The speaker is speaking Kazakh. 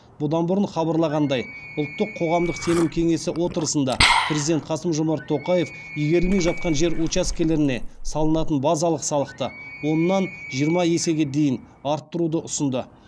бұдан бұрын хабарланғандай ұлттық қоғамдық сенім кеңес отырысында президент қасым жомарт тоқаев игерілмей жатқан жер учаскелеріне салынатын базалық салықты оннан жиырма есеге дейін арттыруды ұсынды